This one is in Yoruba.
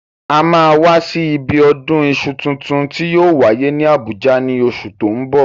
A máa wá sí ibi ọdún iṣu tuntun tí yóò wáyé ní Àbújá ní oṣù tó ń bọ̀.